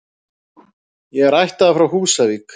Ég er ættaður frá Húsavík.